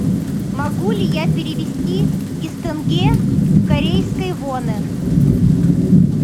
могу ли я перевести из тенге в корейские воны